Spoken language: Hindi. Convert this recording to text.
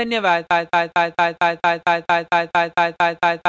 हमसे जुड़ने के लिए धन्यवाद